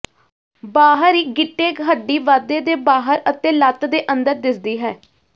ਬਾਹਰ ਹੀ ਗਿੱਟੇ ਹੱਡੀ ਵਾਧੇ ਦੇ ਬਾਹਰ ਅਤੇ ਲੱਤ ਦੇ ਅੰਦਰ ਦਿਸਦੀ ਹੈ